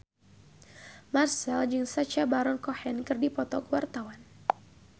Marchell jeung Sacha Baron Cohen keur dipoto ku wartawan